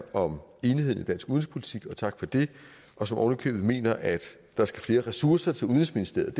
om enigheden i dansk udenrigspolitik tak for det og som ovenikøbet mener at der skal flere ressourcer til udenrigsministeriet at